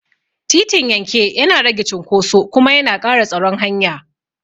Titin yanke yana rage cunkoso kuma yana ƙara tsaron hanya.